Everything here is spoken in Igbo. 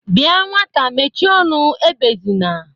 Bia nwata mechie ọnụ, ebezina!